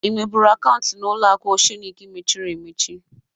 Ị nwebụru akaunti n'ụlọaku Oshenik mechiri emechi?